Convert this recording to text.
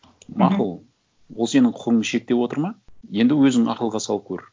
мақұл ол сенің құқығыңды шектеп отыр ма енді өзің ақылға салып көр